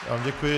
Děkuji.